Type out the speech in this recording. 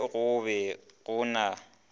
ge go be go na